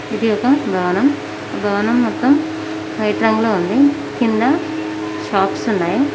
ఇది ఒక భవనం భవనం మొత్తం వైట్ రంగులో ఉంది కింద షాప్స్ ఉన్నాయి.